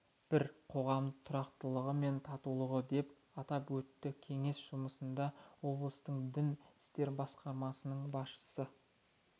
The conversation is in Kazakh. бір қоғам тұрақтылығы мен татулығы деп атап өтті кеңес жұмысында облыстық дін істері басқармасының басшысы